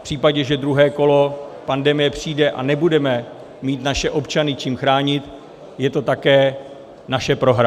V případě, že druhé kolo pandemie přijde a nebudeme mít naše občany čím chránit, je to také naše prohra.